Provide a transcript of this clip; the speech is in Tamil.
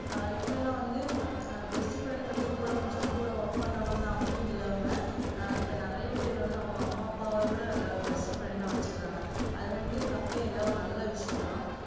ஆஹ் இப்பைலாம் வந்து ஆஹ் best friend னு சொல்லுது கூட படிச்சவங்க கூட work பண்றவங்கதா அப்டின்னு இல்லாம இப்ப நிறைய பேரு வந்து அவங்க அம்மா அப்பாவ கூட நல்ல ஒரு best friend டா வச்சிகறாங்க அதுவந்து தப்பே இல்ல ஒரு நல்ல விஷயம்தா